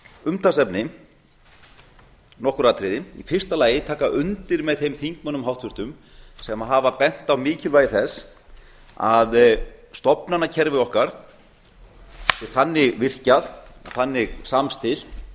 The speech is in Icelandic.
umtalsefni nokkur atriði í fyrsta lagi taka undir með þeim þingmönnum háttvirtur sem hafa bent á mikilvægi þess að stofnanakerfi okkar sé þannig virkjað og þannig samstillt